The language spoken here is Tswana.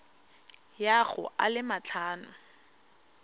ya go a le matlhano